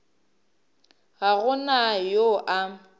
ga go na yo a